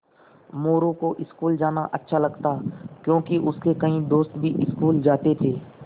मोरू को स्कूल जाना अच्छा लगता क्योंकि उसके कई दोस्त भी स्कूल जाते थे